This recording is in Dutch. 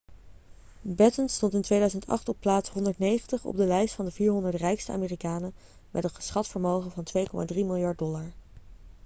batten stond in 2008 op plaats 190 op de lijst van de 400 rijkste amerikanen met een geschat vermogen van 2,3 miljard dollar